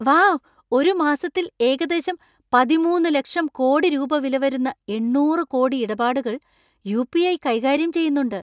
Wow ! ഒരു മാസത്തിൽ ഏകദേശം പതിമൂന്ന് ലക്ഷം കോടി രൂപ വില വരുന്ന എണ്ണൂറ് കോടി ഇടപാടുകൾ യു.പി.ഐ. കൈകാര്യം ചെയ്യുന്നുണ്ട് .